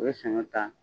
U ye saɲɔ ta